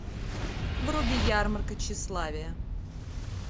вруби ярмарка тщеславия